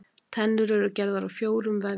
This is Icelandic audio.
Tennur eru gerðar úr fjórum vefjum.